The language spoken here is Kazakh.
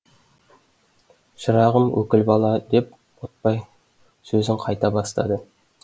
шырағым өкіл бала деп ботбай сөзін қайта бастады